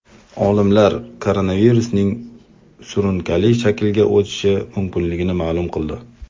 Olimlar koronavirusning surunkali shaklga o‘tishi mumkinligini ma’lum qildi.